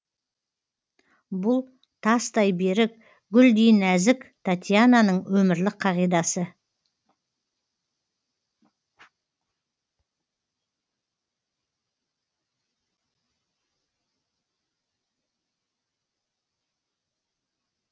бұл тастай берік гүлдей нәзік татьянаның өмірлік қағидасы